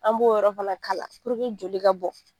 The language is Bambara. An b'o yɔrɔ fana kala joli ka bɔ.